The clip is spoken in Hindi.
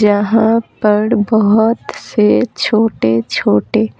जहाँ पर बहुत से छोटे-छोटे --